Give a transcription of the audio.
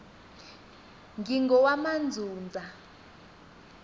ngingowamandzundza